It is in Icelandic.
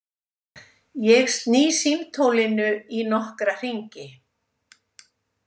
Ég sný símtólinu í nokkra hringi.